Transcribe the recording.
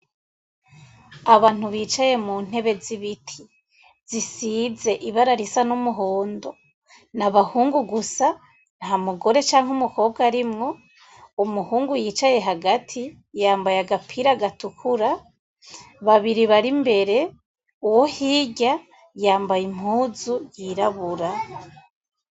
Abantu bicaye mu ntebe z'ibiti zisize ibara risa n'umuhondo n'abahungu gusa nta mugore canke umukobwa arimwo umuhungu yicaye hagati yambaye agapira gatukura babiri bari mbere, uwo hirya yambaye impuzu yirabura.